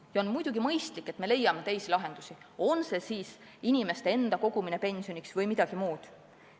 Ja muidugi on mõistlik, et me leiame teisi lahendusi, on see siis inimeste enda kogumine pensioniks või midagi muud.